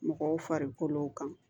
Mɔgɔw farikolo kan